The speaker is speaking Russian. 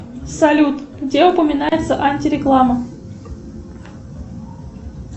салют где упоминается антиреклама